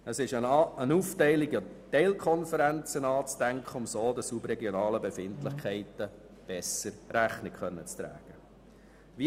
Eine Aufteilung in Teilkonferenzen ist anzustreben, damit den regionalen Befindlichkeiten besser Rechnung getragen werden kann.